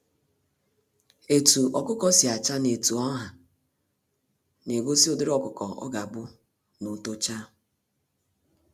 Etu ọkụkọ si acha, na etu ọha na egosi ụdịrị ọkụkọ ọ ga-abu n'otocha